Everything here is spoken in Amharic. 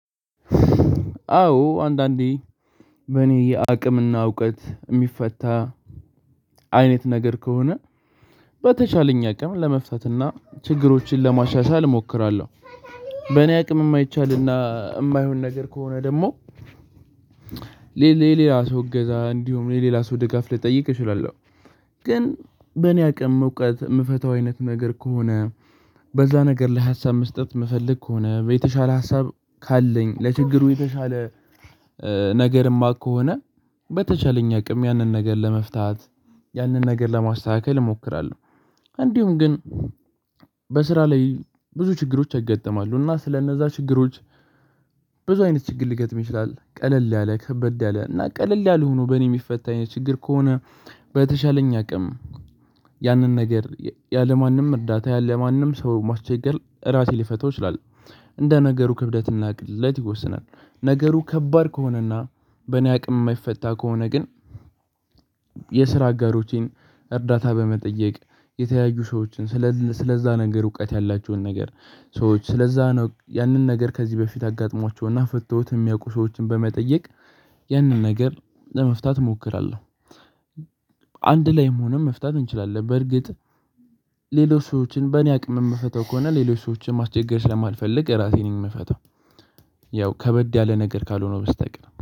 አዎ አንዳንዴ በእኔ የአቅምና እውቀት እሚፈታ አይነት ነገር ከሆነ በተቻለኝ አቅም ለመፍታትና ችግሮችን ለማሻሻል እሞክራለሁ። በእኔ አቅም እማይቻልና እማይሆን ነገር ከሆነ ደግሞ ሌላ ሰው እገዛ እንዲሁም ሌላ ሰው ደጋፍ ልጠይቅ እችላለሁ። ግን በእኔ አቅም እውቀት እምፈታው አይነት ነገር ከሆነ በዛ ነገር ላይ ሀሳብ መስጠት እምፈልግ ከሆነ የተሻለ ሀሳብ ካለኝ ለችግሩ የተሻለ ነገርማ ከሆነ በተቻለኝ አቅም ያንን ነገር ለመፍታት ያንን ነገር ለማስተካከል እሞክራለሁ። እንዲሁም ግን በስራ ላይ ብዙ ችግሮች ያጋጥማሉ እና ስለእነዛ ችግሮች ብዙ አይነት ችግር ሊገጥም ይችላል። ቀለል ያለ ከበደ ያለ እና ቀለል ያልሆኑ በእኔ የሚፈታኝ ችግር ከሆነ በተሻለኝ አቅም ያንን ነገር ያለማንም እርዳታ ያለማንም ሰው ማስቸገር ራሴ ሊፈታው ይችላል። እንደ ነገሩ ክብደት እና ቅለት ይወስናል። ነገሩ ከባድ ከሆነና በእኔ አቅም የማይፈታ ከሆነ ግን የስራ አጋሮቼን እርዳታ በመጠየቅ የተያዩ ሰዎችን ስለዛ ነገር እውቀት ያላችሁን ነገር ሰዎች ስለዛ ነው ያንን ነገር ከዚህ በፊት አጋጥሟቸውና ፈተውት የሚያውቁ ሰዎችን በመጠየቅ ያንን ነገር ለመፍታት እሞክራለሁ። አንድ ላይም ሆኖም መፍታት እንችላለን በርግጥ ሌሎች ሰዎችን በእኔ አቅም እምፈታው ከሆነ ሌሎች ሰዎችን ማስቸገር ስለማልፈልግ ራሴ ነኝ እምፈታው። ያው ከበድ ያለ ነገር ካልሆነ ውስጥ አቅም